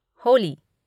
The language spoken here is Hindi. होली